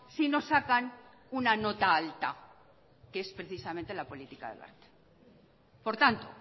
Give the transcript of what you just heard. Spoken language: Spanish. si no sacan una nota alta que es precisamente la política de wert por tanto